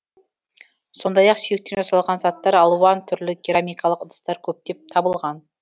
сондай ақ сүйектен жасалған заттар алуан түрлі керамикалық ыдыстар көптеп табылған